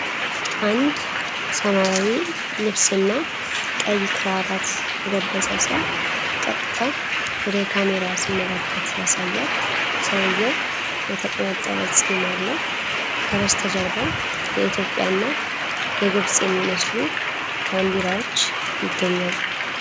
አንድ ሰማያዊ ልብስና ቀይ ክራባት የለበሰ ሰው ቀጥታ ወደ ካሜራ ሲመለከት ያሳያል። ሰውየው የተቆነጠበ ፂም አለው፤ ከበስተጀርባው የኢትዮጵያና የግብፅ የሚመስሉ ባንዲራዎች ይገኛሉ።